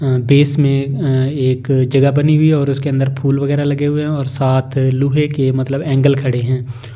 अअ base मैं अअ एक जगह बनी हुई है ओर उसके अंदर फूल वगेरह लगे हुए है और साथ लोहे के मतलब ऐंगल खड़े है